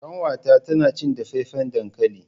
kanwata tana cin dafaffen dankali.